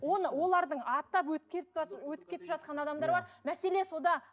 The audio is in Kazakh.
оны олардың аттап өтіп кетіп өтіп кетіп жатқан адамдар бар мәселе сонда